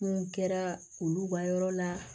Kun kɛra olu ka yɔrɔ la